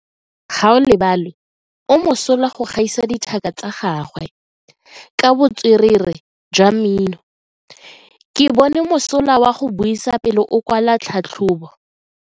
Gaolebalwe o mosola go gaisa dithaka tsa gagwe ka botswerere jwa mmino. Ke bone mosola wa go buisa pele o kwala tlhatlhobo.